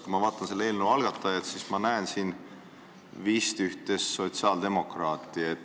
Kui ma vaatan selle eelnõu algatajaid, siis ma näen siin vist ühte sotsiaaldemokraati.